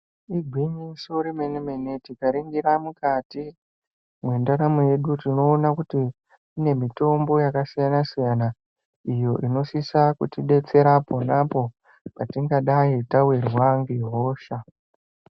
Igwinyiso remene-mene tikaringira mukati mwendaramo yedu tinoona kuti kune mitombo yakasiyana-siyana iyo inosisa kutidetsera ponapo patingadai tawirwa ngehosha.